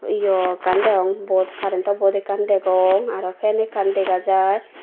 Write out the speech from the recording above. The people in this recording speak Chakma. eyo ekkan degong board current to board ekkan degong aro fan ekkan dega jai.